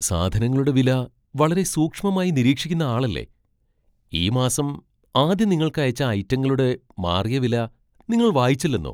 സാധനങ്ങളുടെ വില വളരെ സൂക്ഷ്മമായി നിരീക്ഷിക്കുന്ന ആളല്ലേ? ഈ മാസം ആദ്യം നിങ്ങൾക്ക് അയച്ച ഐറ്റങ്ങളുടടെ മാറിയ വില നിങ്ങൾ വായിച്ചില്ലെന്നോ?